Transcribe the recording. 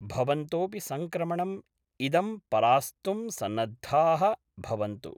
भवन्तोऽपि संक्रमणं इदं परास्तुं सन्नद्धाः भवन्तु।